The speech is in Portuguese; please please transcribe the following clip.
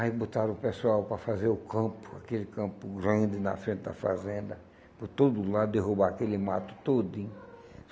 Aí botaram o pessoal para fazer o campo, aquele campo grande na frente da fazenda, por todo lado, derrubar aquele mato todinho.